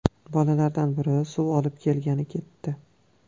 Bolalardan biri suv olib kelgani ketdi.